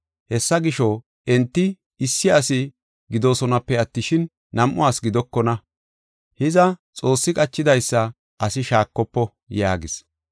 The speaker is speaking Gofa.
Hessa gisho, enti issi asi gidoosonape attishin, nam7u asi gidokona. Hiza, Xoossi qachidaysa asi shaakofo” yaagis.